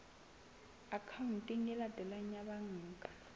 akhaonteng e latelang ya banka